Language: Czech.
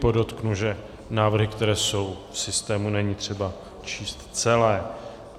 Podotknu, že návrhy, které jsou v systému, není třeba číst celé.